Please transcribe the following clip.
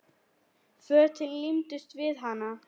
Fötin límdust við hana.